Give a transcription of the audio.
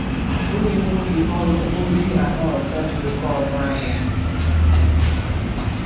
O nyewo gị ọrụ ozi ala ọzọ dị oké ọnụ ahịa. ”